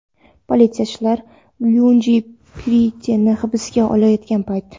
Politsiyachilar Luidji Preitini hibsga olayotgan payt.